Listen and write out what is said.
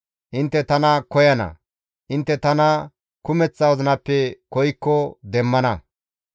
Intte tana koyana; intte tana kumeththa wozinappe koykko demmana.